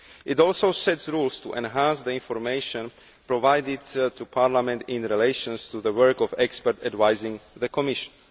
It also sets rules to enhance the information provided to Parliament relating to the work of experts advising the Commission.